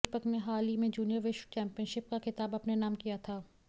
दीपक ने हाल ही में जूनियर विश्व चैम्पियनशिप का खिताब अपने नाम किया था